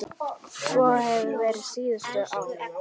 Svo hefur verið síðustu ár.